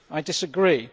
I disagree.